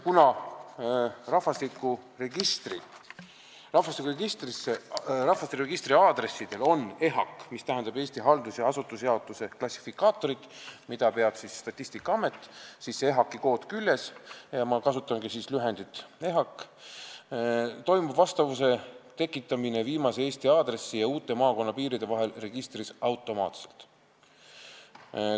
Kuna rahvastikuregistris on aadressidel EHAK-i kood küljes, toimub vastavuse tekitamine viimase Eesti aadressi ja uute maakonnapiiride vahel registris automaatselt.